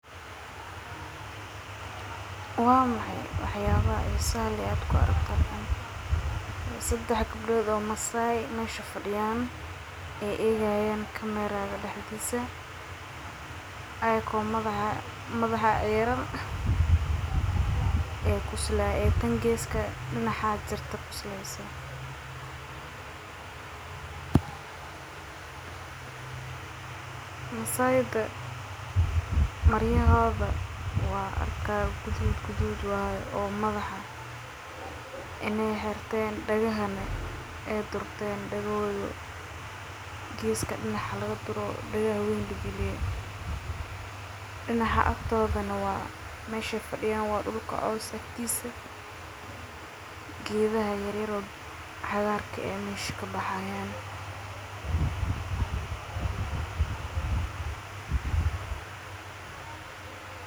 Waa maxay waxyalaha xisaha leh aa mesha ku aragto waxaa waye sexad gabdod oo masai ee egi hayan kamererada oo madhaxa xiran masaida maryahoda waa gudud dagahodhana dina laga duro meshi ee fafana waa dul geedhaha mesha kabaxayana waa cagar.